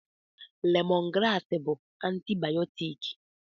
Lemọn graasị bụ antibayọtiki.